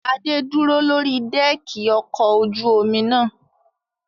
Adé dúró lórí dẹ́ẹ̀kì ọkọ ojú omi náà.